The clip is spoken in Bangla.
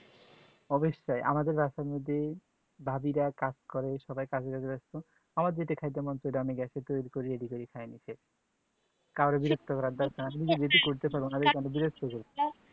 অবশই আমাদের রাস্তার মধ্যে যদি ভাবী রা কাজ করে সবাই কাজে কাজে ব্যাস্ত আমার যেটা ক্যাইতে মন সেটা আমি গ্যাস এ তৈরি ready করে খাই নিজে কায়রো বিরক্ত করার দরকার নেই নিজে যদি কোনো পারো তাহলে কোনো বিরক্ত করবে